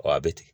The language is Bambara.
a bɛ ten